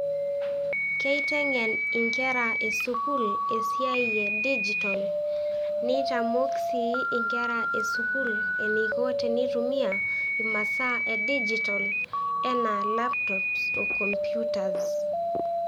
Keiteng'en inkera e sukuul esiai e dijital nitamok sii inkera e sukuull eniko tenitumia imasaa e dijital enaa laptops o computers.